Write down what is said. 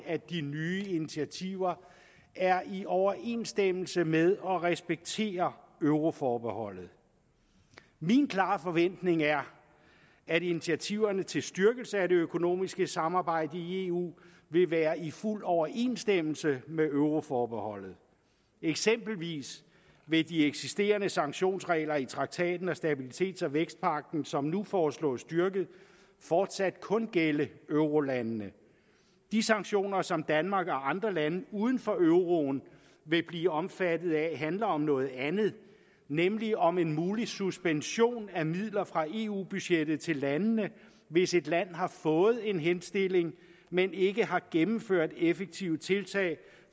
at de nye initiativer er i overensstemmelse med og respekterer euroforbeholdet min klare forventning er at initiativerne til styrkelse af det økonomiske samarbejde i eu vil være i fuld overensstemmelse med euroforbeholdet eksempelvis vil de eksisterende sanktionsregler i traktaten og stabilitets og vækstpagten som nu foreslås styrket fortsat kun gælde eurolandene de sanktioner som danmark og andre lande uden for euroen vil blive omfattet af handler om noget andet nemlig om en mulig suspension af midler fra eu budgettet til landene hvis et land har fået en henstilling men ikke har gennemført effektive tiltag